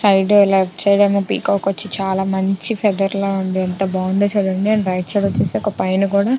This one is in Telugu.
చైడ్ లెఫ్ట్ సైడ్ ఉన్న పీకాక్ వచ్చి చాలా మంచి పెదర్ లో ఉంది ఎంత బాగుందో చుడండి అండ్ రైట్ సైడ్ వచ్చేసి పైన కూడా --